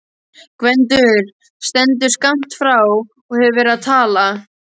Gvendur stendur skammt frá og hefur verið að tala.